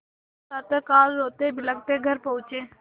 प्रातःकाल रोतेबिलखते घर पहुँचे